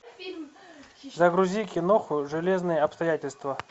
загрузи кино железные обстоятельства